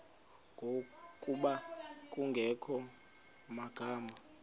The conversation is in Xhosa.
ngokuba kungekho magama